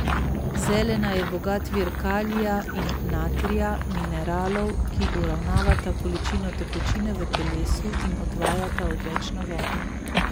Zelena je bogat vir kalija in natrija, mineralov, ki uravnavata količino tekočine v telesu in odvajata odvečno vodo.